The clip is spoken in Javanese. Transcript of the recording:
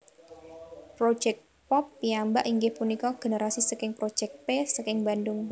Projéct Pop piyambak inggih punika generasi saking Project P saking Bandung